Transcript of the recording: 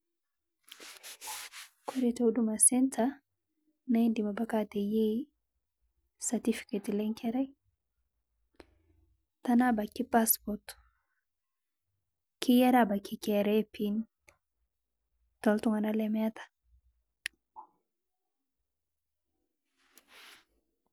Kore to Huduma centre naa idiim abaki ateyeei certificate le nkerrai tana abaki passport keyaari abaki KRA pin to ltung'ana lemeeta.